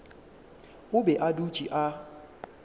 o be a dutše a